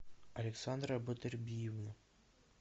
александра батырбиевна